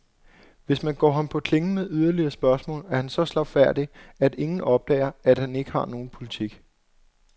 Hvis man går ham på klingen med yderligere spørgsmål, er han så slagfærdig, at ingen opdager, at han ikke har nogen politik.